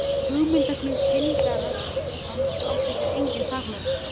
Hugmyndaflug pyndara hans átti sér engin takmörk.